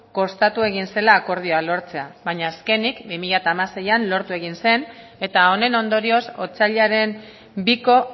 kostatu egin zela akordioa lortzea baina azkenik bi mila hamaseian lortu egin zen eta honen ondorioz otsailaren biko